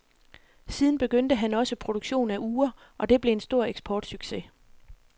Siden begyndte han også produktion af ure, og det blev en stor eksportsucces.